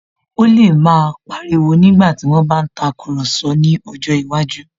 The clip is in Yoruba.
Ó lè máa pa ariwo nígbàtí wón bá ń tàkurọ̀sọ ní ọjọ́ iwájú